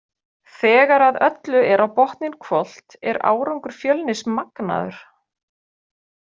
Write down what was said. Þegar að öllu er á botninn hvolft er árangur Fjölnis magnaður.